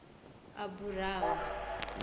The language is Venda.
aburam